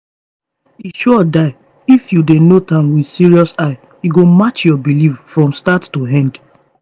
e sure die if you dey note am with serious eye e go match your belief from start to end